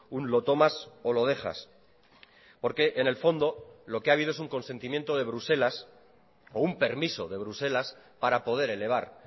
un lo tomas o lo dejas porque en el fondo lo que ha habido es un consentimiento de bruselas o un permiso de bruselas para poder elevar